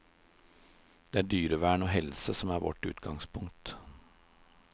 Det er dyrevern og helse som er vårt utgangspunkt.